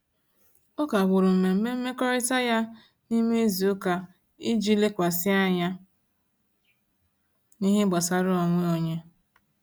O kagbụrụ mmemme mmekọrịta ya n'ime izuụka iji lekwasị anya n'ihe gbasara onwe onye.